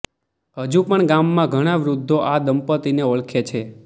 હજુ પણ ગામમાં ઘણા વૃધ્ધો આ દંપત્તિને ઓળખે છે